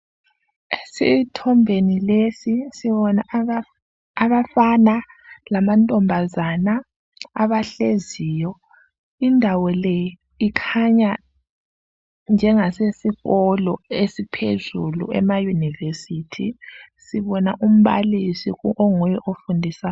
Esithombeni lesi, sibona abafana lamantombazana abahleziyo. Kukhanya kusesikolo sizinga laphezulu, iyunivesithi. Sibona umbalisi onguye ofundisayo.